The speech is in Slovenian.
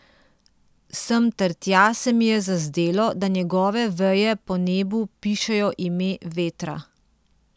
Sem ter tja se mi je zazdelo, da njegove veje po nebu pišejo ime vetra.